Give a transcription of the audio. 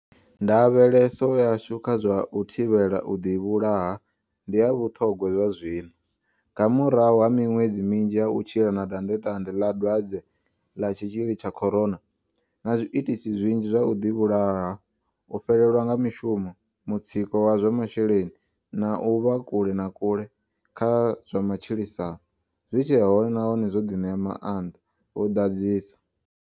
Ndavheleso yashu kha zwa u thivhela u ḓivhulaha ndi ya vhuṱhogwa zwazwino, nga murahu ha miṅwedzi minzhi ya u tshila na dandetande ḽa Dwadze ḽa tshitshili tsha Corona, na zwiitisi zwinzhi zwa u ḓivhulaha, u fhelelwa nga mishumo, mutsiko wa zwa masheleni na u vha kule na kule kha zwa matshilisano, zwi tshe hone nahone zwo ḓi ṋea maanḓa, vho ḓadzisa.